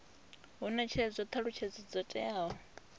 hu netshedzwa thalutshedzo dzo teaho